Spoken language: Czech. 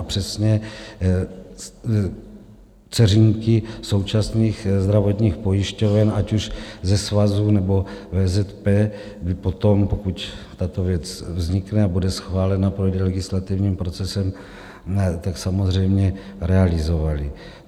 A přesně, dceřinky současných zdravotních pojišťoven, ať už ze svazu, nebo VZP by potom, pokud tato věc vznikne a bude schválena, projde legislativním procesem, tak samozřejmě realizovaly.